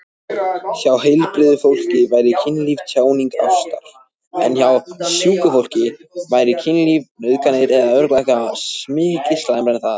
Hjá heilbrigðu fólki væri kynlíf tjáning ástar.